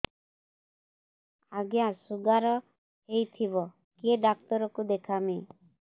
ଆଜ୍ଞା ଶୁଗାର ହେଇଥିବ କେ ଡାକ୍ତର କୁ ଦେଖାମି